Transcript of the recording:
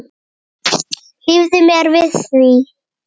Hlífðu mér við því.